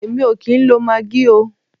Èmi o kìí ń lo maggi oo.